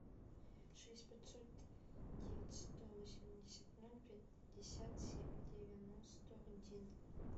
шесть пятьсот девять сто восемьдесят ноль пятьдесят семь девяносто один